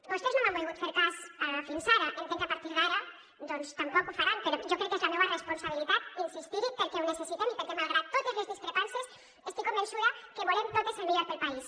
vostès no m’han volgut fer cas fins ara entenc que a partir d’ara doncs tampoc ho faran però jo crec que és la meua responsabilitat insistir hi perquè ho necessitem i perquè malgrat totes les discrepàncies estic convençuda que volem totes el millor per al país